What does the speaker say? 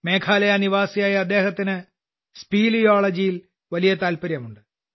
മേഘാലയ നിവാസിയായ അദ്ദേഹത്തിന് സ്പീലിയോളജിയിൽ വലിയ താൽപര്യമുണ്ട്